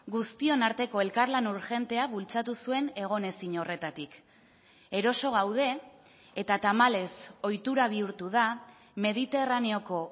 guztion arteko elkarlan urgentea bultzatu zuen egon ezin horretatik eroso gaude eta tamalez ohitura bihurtu da mediterraneoko